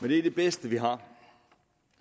det er det bedste vi har